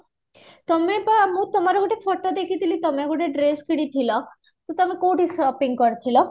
ତମେ ତ ତୁମର ଗୋଟେ photo ଦେଖିଥିଲି ତମେ ଗୋଟେ dress କିଣିଥିଲ, ତମେ କୋଉଠି sopping କରିଥିଲ?